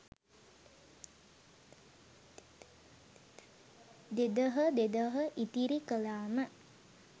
දෙදහ දෙදහ ඉතිරි කළාම,